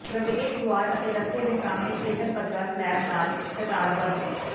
ਪ੍ਰਵੇਸ਼ ਦੁਆਰ ਅਤੇ ਰਸਤੇ ਦੇ ਸਾਹਮਣੇ ਖੇਤਰ ਪੱਧਰਾ ਸਲੈਬ ਨਾਲ ਕਤਾਰਬੱਧ